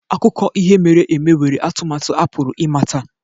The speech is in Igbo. Akụkọ ihe mere eme nwere atụmatụ a pụrụ ịmata